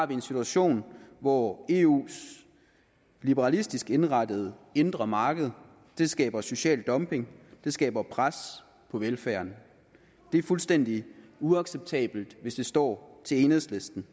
vi en situation hvor eus liberalistisk indrettede indre marked skaber social dumping det skaber pres på velfærden det er fuldstændig uacceptabelt hvis det står til enhedslisten